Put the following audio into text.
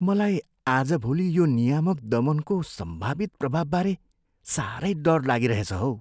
मलाई आजभोलि यो नियामक दमनको सम्भावित प्रभावबारे साह्रै डर लागिरहेछ हौ।